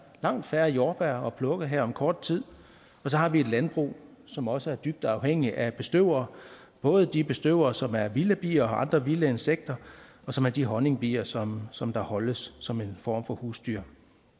langt færre jordbær at plukke her om kort tid og så har vi et landbrug som også er dybt afhængigt af bestøvere både de bestøvere som er vilde bier og andre vilde insekter og som er de honningbier som som holdes som en form for husdyr